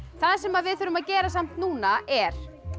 það sem við þurfum að gera samt núna er